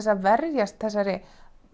að verjast þessari